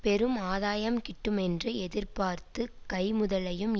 பெரும் ஆதாயம் கிட்டுமென்று எதிர்பார்த்து கை முதலையும்